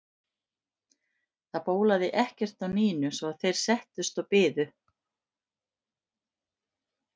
Það bólaði ekkert á Nínu svo að þeir settust og biðu.